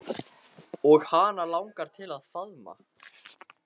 Og hana langar til að faðma